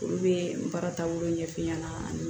Olu bɛ n baara taabolo ɲɛf'i ɲɛna